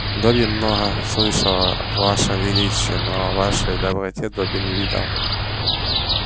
добби много слышал о вашем величии но о вашей доброте добби не видал